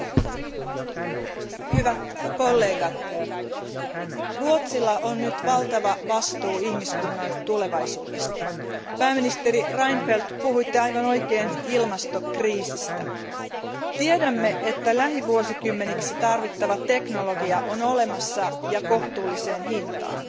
Arvoisa puhemies, hyvät kollegat, Ruotsilla on nyt valtava vastuu ihmiskunnan tulevaisuudesta. Pääministeri Reinfeldt, puhuitte aivan oikein ilmastokriisistä. Tiedämme, että lähivuosikymmeniksi tarvittava teknologia on olemassa, ja kohtuulliseen hintaan,